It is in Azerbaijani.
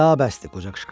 Daha bəsdir!